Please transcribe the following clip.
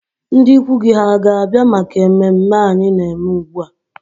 Ndị ikwu gị hà ga-abịa maka ememme anyị na-eme ugbu a?